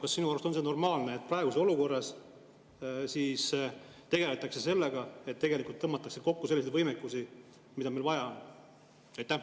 Kas sinu arust on see normaalne, et praeguses olukorras tegeldakse sellega, et tõmmatakse kokku selliseid võimekusi, mida meil vaja on?